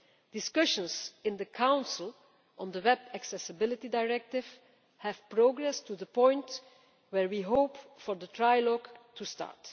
Discussions in the Council on this Web Accessibility Directive have progressed to the point where we hope for the trilogue to start.